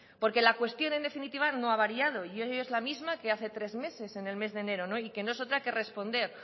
porque la cuestión en definitiva no ha variado y hoy es la misma que hace tres meses del mes de enero y que no es otra que responder